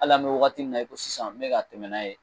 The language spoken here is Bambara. Al'an be wagati min na i ko sisan n be tɛmɛ n'a ye